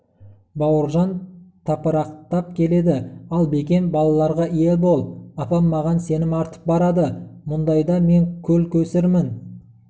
бауыржан тапырақтап келеді ал бекен балаларға ие бол апам маған сенім артып барады мұндайда мен көл-көсірмін